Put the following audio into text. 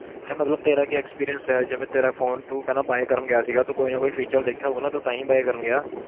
ਹੈਂ ਮਤਲਬ ਤੇਰਾ ਕੀ experience ਹੈ ਜਿਵੇਂ ਤੇਰਾ phone ਤੂੰ ਕਹਿਨਾ buy ਕਰਨ ਗਿਆ ਸੀਗਾ, ਤੂੰ ਕੋਈ ਨਾ ਕੋਈ feature ਦੇਖਿਆ ਹੋਊਗਾ ਤੂੰ ਤਾਂ ਹੀ buy ਕਰਨ ਗਿਆ।